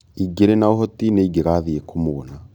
ĩngĩrĩ na ũhoti nĩingĩathiĩ kũmuona